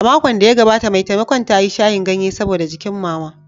A makon da ya gabata, mai taimakon ta yi shayin ganye saboda jikin Mama.